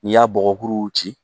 N'i y'a bɔgɔkuruw ci